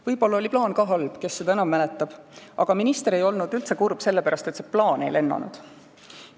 Võib-olla oli plaan ka halb – kes seda enam mäletab –, aga minister ei olnud kurb üldse selle pärast, et see plaan ei lennanud.